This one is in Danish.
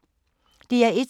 DR1